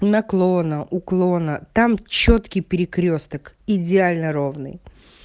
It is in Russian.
наклона уклона там чёткий перекрёсток идеально ровный